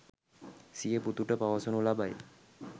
සිය පුතුට පවසනු ලබයි.